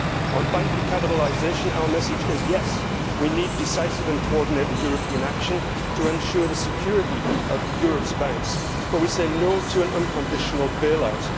On bank recapitalisation our message is yes' we need decisive and coordinated European action to ensure the security of Europe's banks, but we say no' to an unconditional bail out.